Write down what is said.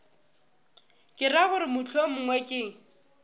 ke ra gore mohlomongwe ke